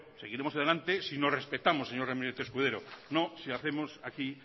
seguiremos adelante si nos respetamos señor ramírez escudero no si hacemos aquí